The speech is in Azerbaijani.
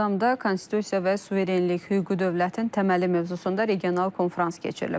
Ağdamda konstitusiya və suverenlik, hüquqi dövlətin təməli mövzusunda regional konfrans keçirilib.